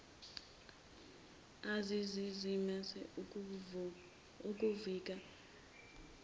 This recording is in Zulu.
ezazizama ukuvika wamemezisa